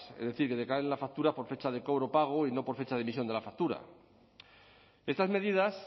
es decir que decae en la factura por fecha de cobro pago y no por fecha de emisión de la factura estas medidas